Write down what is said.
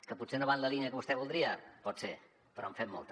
que potser no va en la línia que vostè voldria pot ser però en fem molta